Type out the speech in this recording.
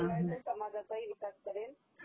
शिवाय तो समाजाचाही विकास करेल..